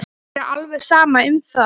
Mér er alveg sama um það.